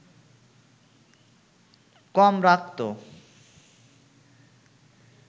কম রাখতো